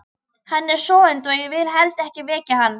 Hann er sofandi og ég vil helst ekki vekja hann.